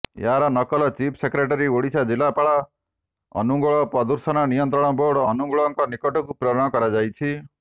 ଏହାର ନକଲ chief secretary Odisha ଜିଲ୍ଲାପାଳ ଅନୁଗୋଳ ପ୍ରଦୁଷଣ ନିୟନ୍ତ୍ରଣ ବୋର୍ଡ ଅନୁଗୋଳଙ୍କ ନିକଟକୁ ପ୍ରେରଣ କରାଯାଇଛି